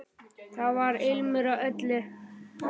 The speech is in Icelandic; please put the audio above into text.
Þar var ilmur af öllu.